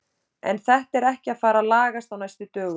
En þetta er ekki að fara að lagast á næstu dögum.